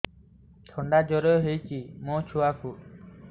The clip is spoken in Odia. ଥଣ୍ଡା ଜର ହେଇଚି ମୋ ଛୁଆକୁ